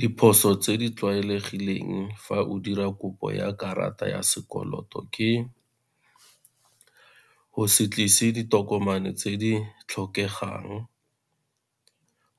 Diphoso tse di tlwaelegileng fa o dira kopo ya karata ya sekoloto ke go se tlise ditokomane tse di tlhokegang,